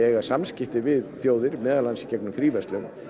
samskipti við þjóðir meðal annars í gegnum fríverslun